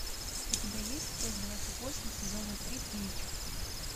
у тебя есть часть двадцать восемь сезона три блич